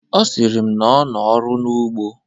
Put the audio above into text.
Ọ sịrị m n' ọ nọ ọrụ n'ugbo.